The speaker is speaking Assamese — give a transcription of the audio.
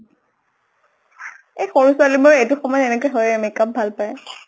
এই সৰু ছোৱালী বোৰৰ এইটো সময়ত এনেকে হয়ে, makeup ভাল পায়।